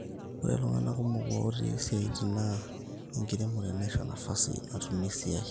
ore iltungana kumok looti siaitin naa enkiremore naisho nafasi natumie esiai